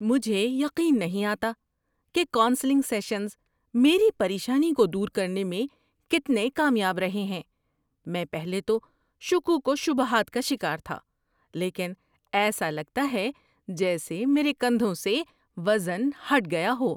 مجھے یقین نہیں آتا کہ کونسلنگ سیشنز میری پریشانی کو دور کرنے میں کتنے کامیاب رہے ہیں۔ میں پہلے تو شکوک و شبہات کا شکار تھا، لیکن ایسا لگتا ہے جیسے میرے کندھوں سے وزن ہٹ گیا ہو۔